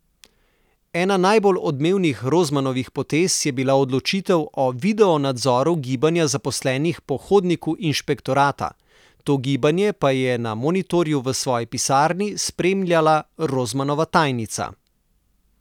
Ena najbolj odmevnih Rozmanovih potez je bila odločitev o videonadzoru gibanja zaposlenih po hodniku inšpektorata, to gibanje pa je na monitorju v svoji pisarni spremljala Rozmanova tajnica.